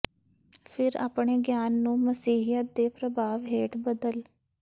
ਫਿਰ ਆਪਣੇ ਗਿਆਨ ਨੂੰ ਮਸੀਹੀਅਤ ਦੇ ਪ੍ਰਭਾਵ ਹੇਠ ਬਦਲ